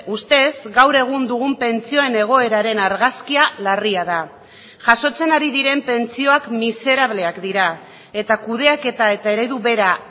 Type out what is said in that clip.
ustez gaur egun dugun pentsioen egoeraren argazkia larria da jasotzen ari diren pentsioak miserableak dira eta kudeaketa eta eredu bera